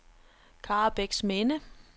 Karrebæksminde